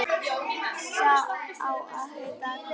Sá á að heita Agnes.